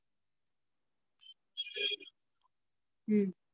ஹம்